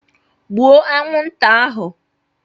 Gbuo anwụnta ahụ